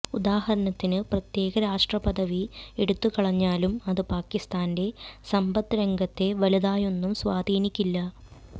ഉദാഹരണത്തിന് പ്രത്യേക രാഷ്ട്ര പദവി എടുത്തുകളഞ്ഞാലും അത് പാകിസ്ഥാന്റെ സമ്പദ് രംഗത്തെ വലുതായൊന്നും സ്വാധീനിക്കില്ല